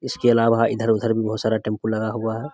इसके अलावा इधर-उधर भी बहुत सारा टैम्पू लगा हुआ है।